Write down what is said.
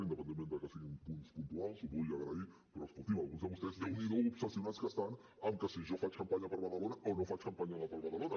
independentment que siguin punts puntuals ho vull agrair però escoltin alguns de vostès déu n’hi do com estan d’obsessionats amb que si jo faig campanya per badalona o no faig campanya per badalona